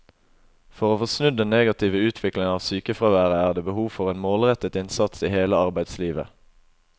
For å få snudd den negative utviklingen av sykefraværet er det behov for en målrettet innsats i hele arbeidslivet.